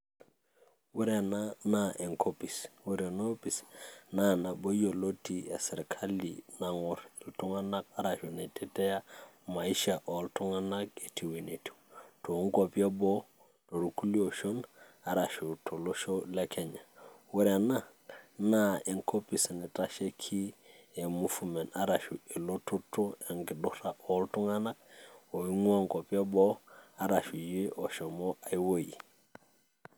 Ore enaa naa enkopis, ero ena opis naa nabo iyoilo etii esirkali naing'or iltungana ashu naitetea maisha oltungana etiu ene etiu too nkuapi eboo , irkulie oshon arashu too losho le Kenya. Ore ena na enkopis naitasheki ee movement arashu elototo, enkidura oltungana oingua inkuapi eboo arashu iyie oshomo ai weji.